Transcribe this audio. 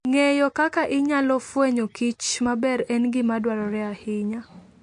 Ng'eyo kaka inyalo fwenyoKich maber en gima dwarore ahinya.